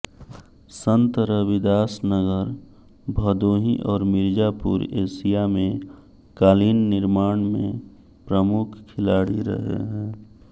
संत रविदास नगर भदोही और मिर्जापुर एशिया में कालीन निर्माण में प्रमुख खिलाड़ी रहे हैं